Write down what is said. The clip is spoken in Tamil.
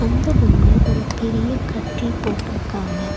அந்த ரூம்ல ஒரு பெரிய கட்டில் போட்டுருக்காங்க.